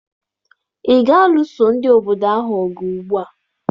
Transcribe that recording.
Ị ga-alụso ndị obodo ahụ ọgụ ugbua!